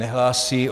Nehlásí.